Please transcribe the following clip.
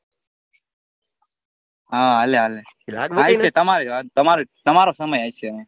હા હાલે હાલે તમારો સમય હશે હવે